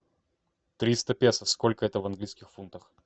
триста песо сколько это в английских фунтах